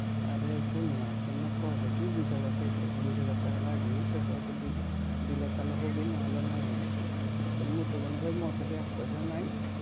আরে শুননা তা মু কইছু কি বিশ হাজার পয়সা বিশ হাজার টাকা লাগবে তারপরে যদি দিলে তাহলে হবে নাহলে না হবে তা মু তো কইছু ভাই মোর কাছে এক পয়সা নাই